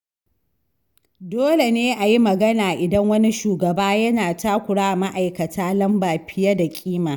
Dole ne a yi magana idan wani shugaba yana takura wa ma’aikata lamba fiye da kima.